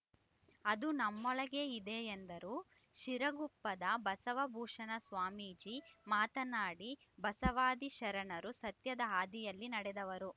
ಅದು ನಮ್ಮೊಳಗೇ ಇದೆ ಎಂದರು ಶಿರಗುಪ್ಪದ ಬಸವಭೂಷಣ ಸ್ವಾಮೀಜಿ ಮಾತನಾಡಿ ಬಸವಾದಿ ಶರಣರು ಸತ್ಯದ ಹಾದಿಯಲ್ಲಿ ನಡೆದವರು